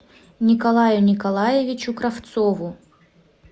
николаю николаевичу кравцову